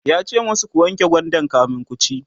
yace masu "ku wanke gwandan kamin kuci!"